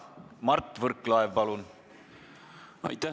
Mart Võrklaev, palun!